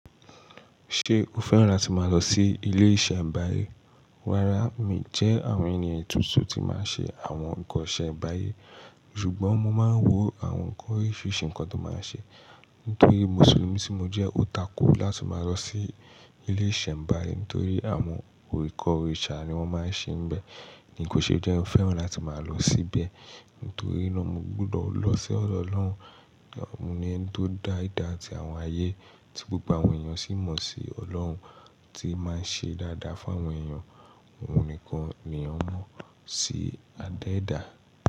Ṣé o fẹ́ràn láti máa lọ sí ilé ìṣẹ̀ nbáyé? Rárá, mi jẹ́ àwọn ènìyàn tuntun tí máa ń ṣe àwọn nǹkan isembáyé, ṣùgbọ́n mo máa ń wo àwọn nǹkan oríṣiríṣi nǹkan tó máa ń ṣe. Nítorí Mùsùlùmí tí mo jẹ́ ó tako láti máa lọ sí ilé ìṣẹ̀mbáyé, nítorí àwọn oríkọ̀-òrìṣà ni wọ́n máa ń ṣe níbẹ̀. Ní kó ṣe je n fẹ́ràn láti máa lọ síbẹ̀, nítorí náà mo gbúdọ̀ lọ sí ọ̀dọ̀ Ọlọ́run. Ọ̀un ni ẹni tó dá ìdá ti àwọn ayé, tí gbogbo àwọn èèyàn sì mọ̀ sí Ọlọ́run, tí ó máa ń ṣe dáadáa fún àwọn èèyàn. Òun nìkan ni a mọ̀ sí adéèdá.